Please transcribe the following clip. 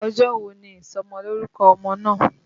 Ọjọ́ wo ni ìsọmọlórúkọ ọmọ náà?